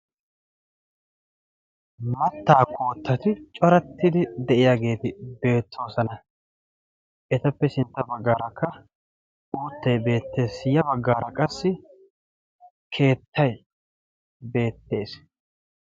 mattaa koottatu corattidi de'iyaageeti beettoosana etappe sintta baggaarakka oottay beettees ya baggaara qassi keettay beettees